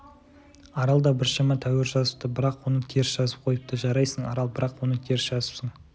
арал да біршама тәуір жазыпты бірақ оны теріс жазып қойыпты жарайсың арал бірақ оны теріс жазыпсың